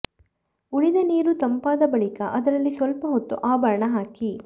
ಉಳಿದ ನೀರು ತಂಪಾದ ಬಳಿಕ ಅದರಲ್ಲಿ ಸ್ವಲ್ಪ ಹೊತ್ತು ಆಭರಣ ಹಾಕಿ